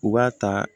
U b'a ta